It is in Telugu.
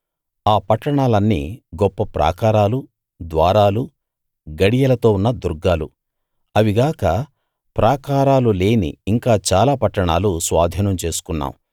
ఆ పట్టణాలన్నీ గొప్ప ప్రాకారాలు ద్వారాలు గడియలతో ఉన్న దుర్గాలు అవిగాక ప్రాకారాలు లేని ఇంకా చాలా పట్టణాలు స్వాధీనం చేసుకున్నాం